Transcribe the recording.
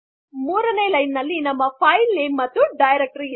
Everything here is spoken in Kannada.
೩ನೆ ಲೈನಲ್ಲಿ ನಮ್ಮ ಫೈಲ್ ನೇಮ್ ಮತ್ತು ಡೈರಕ್ಟರಿ